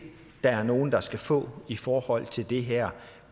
der er nogen der skal få mulighed i forhold til det her